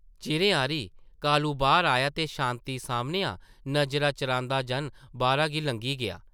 चिरें हारी कालू बाह्र आया ते शांति सामनेआ नज़रां चरांदा-जन बाह्रा गी लंघी गेआ ।